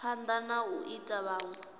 phanda na u ita vhunwe